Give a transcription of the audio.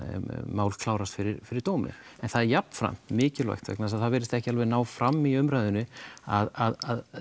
mál klárast fyrir fyrir dómi en það er jafnframt mikilvægt vegna þess að það virðist ekki alveg ná fram í umræðunni að